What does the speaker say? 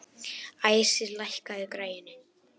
Æsir, lækkaðu í græjunum.